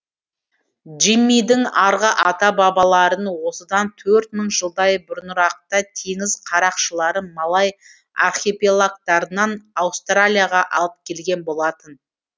джиммидің арғы ата бабаларын осыдан төрт мың жылдай бұрынырақта теңіз қарақшылары малай архипелагтарынан аустралияға алып келген болатын